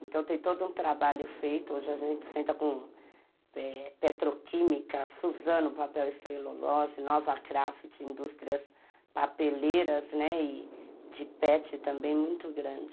Então tem todo um trabalho feito, hoje a gente senta com petroquímica, Suzano, papel e celulose, Nova Craft, indústrias papeleiras, né, e de pet também, muito grande.